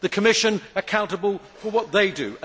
the Commission accountable for what they do